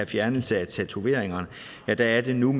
fjernelse af tatoveringer og der er det nu